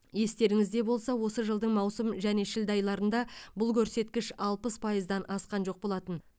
естеріңізде болса осы жылдың маусым және шілде айларында бұл көрсеткіш алпыс пайыздан асқан жоқ болатын